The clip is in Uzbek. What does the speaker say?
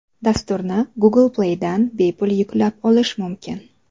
Dasturni Google Play ’dan bepul yuklab olish mumkin.